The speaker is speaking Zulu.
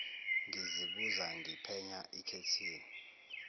ngizibuza ngiphenya ikhethihi